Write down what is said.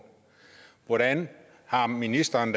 hvordan har ministeren